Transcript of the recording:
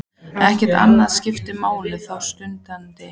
Ekkert annað skiptir máli þá stundina.